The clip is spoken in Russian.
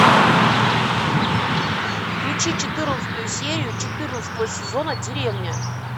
включи четырнадцатую серию четырнадцатого сезона деревня